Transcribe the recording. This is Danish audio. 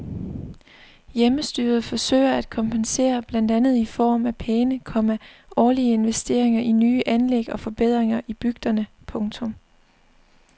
Hjemmestyret forsøger at kompensere blandt andet i form af pæne, komma årlige investeringer i nye anlæg og forbedringer i bygderne. punktum